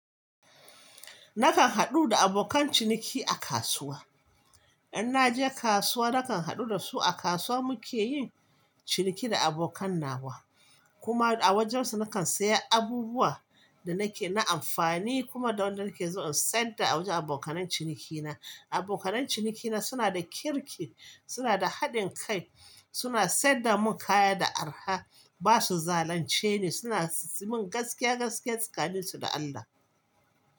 Nakan haɗu da abokan ciniki a kasuwa. In naje kasuwa nakan haɗu da su a kasuwa muke yin ciniki da abokan nawa. Kuma a wajen su nakan saya abubuwa da nake na amfani kuma da wanda nake zo in sayarwa da a wajen abokanai cinikina. Abokanai cinikina suna da kirki, suna da haɗin kai, suna sai da mun kaya da araha, ba su zalunce ni, suna yi min gaskiya gaskiya tsakanin su da Allah.